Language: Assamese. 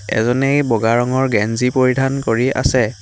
এজনে বগা ৰঙৰ গেঞ্জী পৰিধান কৰি আছে।